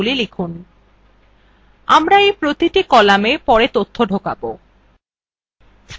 আমরা we প্রতিটি কলামে পরে তথ্য ঢোকাব